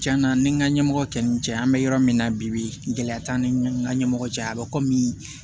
Cɛn na ni n ka ɲɛmɔgɔ kɛ n ni n cɛ an bɛ yɔrɔ min na bi bi gɛlɛya t'an ni n ka ɲɛmɔgɔ cɛ a bɛ kɔmi